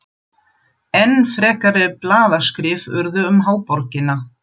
Enn frekari blaðaskrif urðu um háborgina.